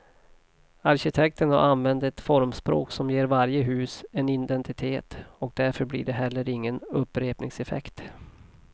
Arkitekten har använt ett formspråk som ger varje hus en identitet och därför blir det heller ingen upprepningseffekt.